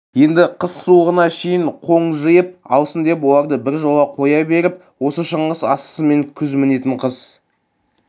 енді қыс суығына шейін қоң жиып алсын деп оларды біржола қоя беріп осы шыңғыс асысымен күз мінетін қыс